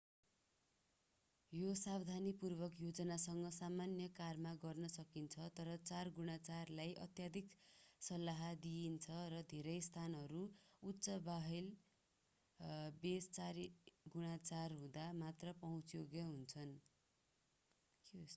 यो सावधानीपूर्वक योजनासँग सामान्य कारमा गर्न सकिन्छ तर 4x4लाई अत्याधिक सल्लाह दिइन्छ र धेरै स्थानहरू उच्च व्हील बेस 4x4 हुँदा मात्रै पहुँचयोग्य हुन्छन्।